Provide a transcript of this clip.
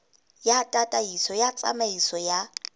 ya tataiso ya tsamaiso ya